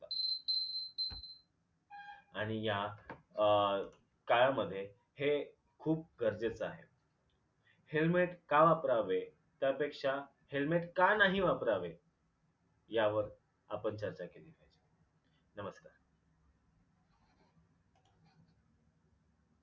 आणि या अ काळामध्ये हे खूप गरजेच आहे. helmet का वापरावे त्यापेक्षा हेल्मेट का नाही वापरावे ह्यावर आपण चर्चा केली, नमस्कार.